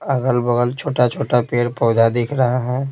अगल-बगल छोटा-छोटा पेड़ पौधा दिख रहा है।